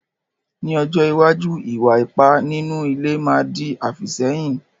Ní ọjọ́ iwájú, ìwà ipá nínú ilé má di àfìsẹ́yìn.